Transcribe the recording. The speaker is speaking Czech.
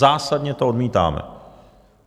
Zásadně to odmítáme!